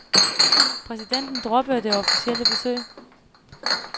Præsidenten droppede det officielle besøg.